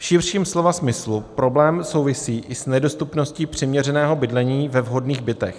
V širším slova smyslu problém souvisí i s nedostupností přiměřeného bydlení ve vhodných bytech.